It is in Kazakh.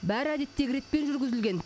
бәрі әдеттегі ретпен жүргізілген